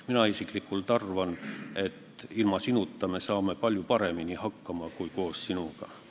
Mina isiklikult arvan, et ilma sinuta me saame palju paremini hakkama kui koos sinuga.